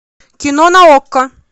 кино на окко